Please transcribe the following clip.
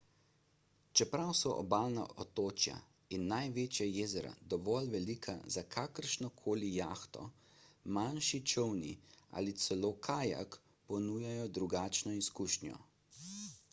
čeprav so obalna otočja in največja jezera dovolj velika za kakršno koli jahto manjši čolni ali celo kajak ponujajo drugačno izkušnjo